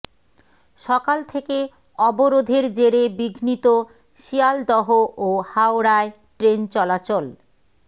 সকাল থেকে অবরোধের জেরে বিঘ্নিত শিয়ালদহ ও হাওড়ায় ট্রেন চলাচল